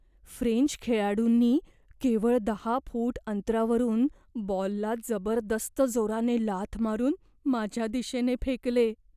French खेळाडूंनी केवळ दहा फूट अंतरावरून बॉलला जबरदस्त जोराने लाथ मारून माझ्या दिशेने फेकले.